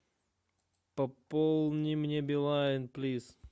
пополни мне билайн плиз